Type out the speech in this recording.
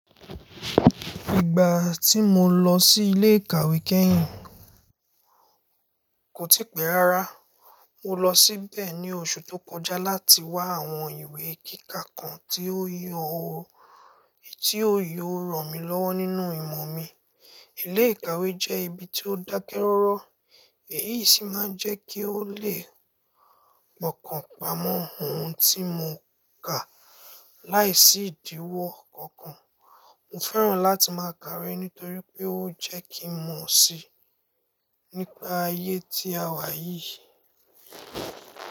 Ìgbà tí mo lọ sí ilé ìkàwé kẹ́hìn kò tí pẹ́ rárá. Mo lọ síbẹ̀ ní oṣù tó kọjá láti wá àwọn ìwé kíkà kan ti yoo-- tí ó yóò ràn mí lọ́wọ́ nínú ìmọ̀ mi. Ilé ìkàwé jẹ́ ibi tí ó dákẹ́ rọ́rọ́ èyí sì máa jẹ́ kí ó lè pọ́kàn pamọ́ ohun tí mo kà láìsí ìdíwọ́ kankan. Mo fẹ́ràn láti máa kà iwe nítorí pé ó jẹ́ kí mo mọ̀ síi nípa ayé tí a wà yìí.